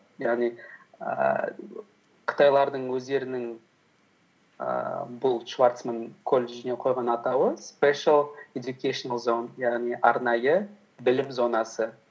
яғни ііі қытайлардың өздерінің ііі бұл шварцман колледжіне қойған атауы спешл эдукейшенал зоун яғни арнайы білім зонасы